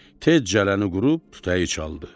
Tez cələni qurub tutayı çaldı.